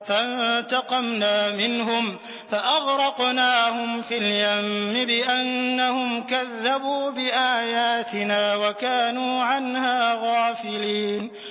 فَانتَقَمْنَا مِنْهُمْ فَأَغْرَقْنَاهُمْ فِي الْيَمِّ بِأَنَّهُمْ كَذَّبُوا بِآيَاتِنَا وَكَانُوا عَنْهَا غَافِلِينَ